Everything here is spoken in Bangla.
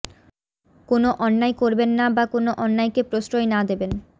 কোনো অন্যায় করবেন না বা কোনো অন্যায়কে প্রশ্রয় না দেবেন